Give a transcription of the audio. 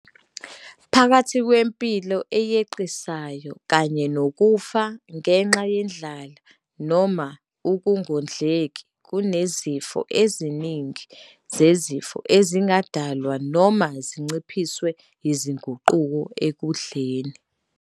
Phakathi kwempilo eyeqisayo kanye nokufa ngenxa yendlala noma ukungondleki, kunezifo eziningi zezifo ezingadalwa noma zinciphiswe yizinguquko ekudleni.